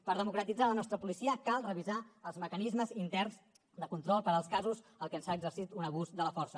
per democratitzar la nostra policia cal revisar els mecanismes interns de control per als casos en què s’ha exercit un abús de la força